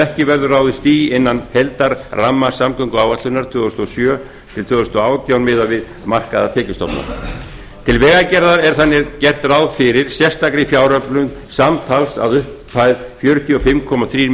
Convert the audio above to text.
ekki verður ráðist í innan heildarramma samgönguáætlunar tvö þúsund og sjö til tvö þúsund og átján miðað við markaða tekjustofna til vegagerðar er þannig gert ráð fyrir sérstakri fjáröflun samtals að upphæð fjörutíu og fimm komma þrír